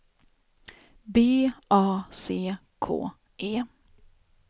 B A C K E